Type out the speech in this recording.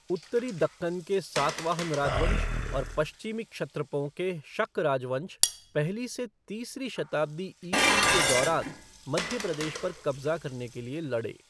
उत्तरी दक्कन के सातवाहन राजवंश और पश्चिमी क्षत्रपों के शक राजवंश पहली से तीसरी शताब्दी ईस्वी के दौरान मध्य प्रदेश पर कब्ज़ा करने के लिए लड़े।